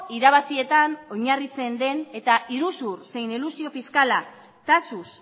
irabazietan oinarritzen den eta iruzur zein elusio fiskala taxuz